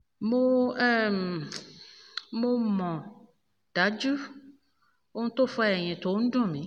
mo um mọ̀ um dájú ohun tó fa ẹ̀yìn tó ń um dùn mí